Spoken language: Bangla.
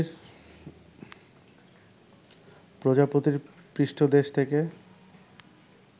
প্রজাপতির পৃষ্ঠদেশ থেকে